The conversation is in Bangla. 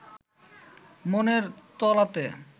মনের তলাতে